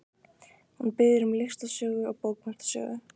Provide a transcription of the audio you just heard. Hún biður um listasögu og bókmenntasögu.